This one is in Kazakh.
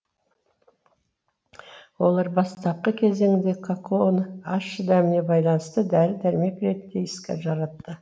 олар бастапқы кезеңде какаоны ащы дәміне байланысты дәрі дәрмек ретінде іске жаратты